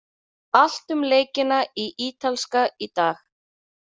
Allt um leikina í Ítalska í dag.